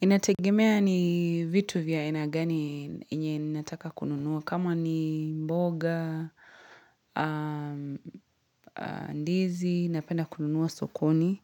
Inategemea ni vitu vya aina gani yenye ninataka kununuwa. Kama ni mboga, Ndizi, napenda kununuwa sokoni.